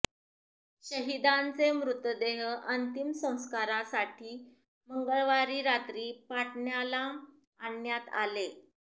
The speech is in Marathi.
शहिदांचे मृतदेह अंतिम संस्कारासाठी मंगळवारी रात्री पाटण्याला आणण्यात आले